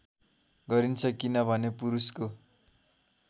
गरिन्छ किनभने पुरुषको